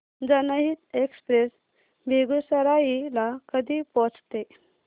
जनहित एक्सप्रेस बेगूसराई ला कधी पोहचते